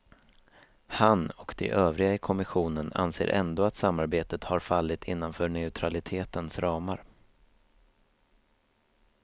Han och de övriga i kommissionen anser ändå att samarbetet har fallit innanför neutralitetens ramar.